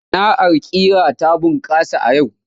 Sana'ar ƙira ta bunƙasa a yau.